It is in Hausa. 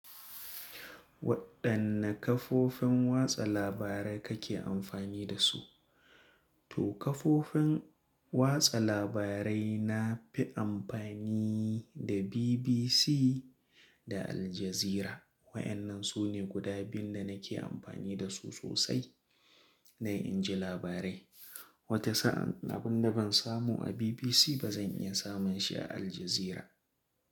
Waɗanne kafofin watsa labarai kake amfani da su? To kafofin watsa labarai na fi amfani da BBC da Al Jazeera. Wayannan su ne guda biyu da nake amfani da su sosai na in ji labarai. Wata sa'an abin da ban samu a BBC ba zan iya samun shi a Al Jazeera.